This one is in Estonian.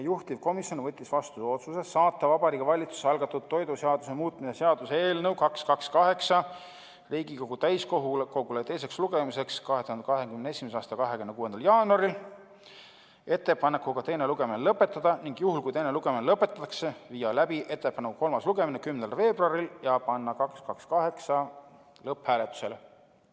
Juhtivkomisjon võttis vastu otsuse saata Vabariigi Valitsuse algatatud toiduseaduse muutmise seaduse eelnõu 228 Riigikogu täiskogule teiseks lugemiseks 2021. aasta 26. jaanuariks ettepanekuga teine lugemine lõpetada, ning juhul kui teine lugemine lõpetatakse, viia läbi eelnõu kolmas lugemine 10. veebruaril ja panna 228 lõpphääletusele.